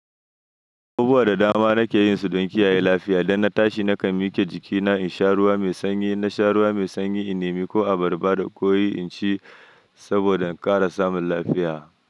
Abubuwa da dama nake yin su don kiyaye lafiya. Idan na tashi nakan miƙe jikina in sha ruwa mai sanyi. Na sha ruwa mai sanyi, in nemi ko abarba da koyi in ci saboda in ƙara samun lafiya.